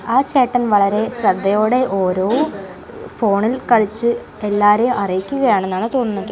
ആ ചേട്ടൻ വളരെ ശ്രദ്ധയോടെ ഓരോ ഫോണിൽ കളിച്ചു എല്ലാരെയും അറിയിക്കുകയാണെന്നാണ് തോന്നുന്നത്.